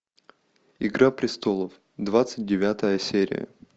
игра престолов двадцать девятая серия